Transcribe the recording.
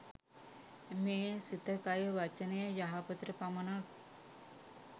මේ සිත, කය, වචනය, යහපතට පමණක්